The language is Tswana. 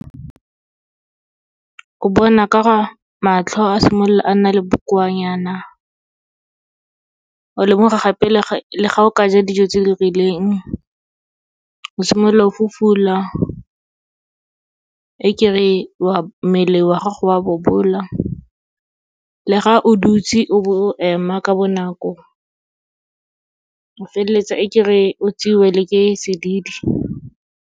O bona ka go matlho a simolola a nna le bokoanyana, o lemoga gape le ga o ka ja dijo tse di rileng, o simolola o fufula, e ke re mmele wa gago wa bobola. Le ga o dutse o bo o ema ka bonako, o feleletsa e ke re o tseiwe le ke sedidi.